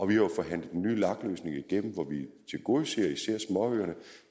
vi har jo forhandlet en ny lag løsning igennem hvor vi tilgodeser især småøerne